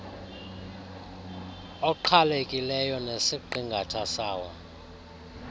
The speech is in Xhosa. oqhelekileyo nesiqingatha sawo